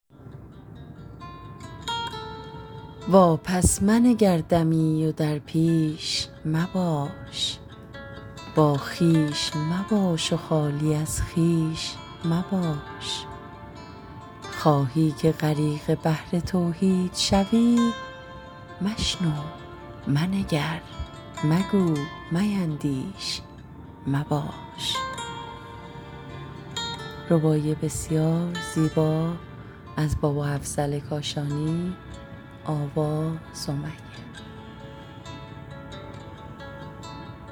واپس منگر دمی و در پیش مباش با خویش مباش و خالی از خویش مباش خواهی که غریق بحر توحید شوی مشنو منگر میندیش مباش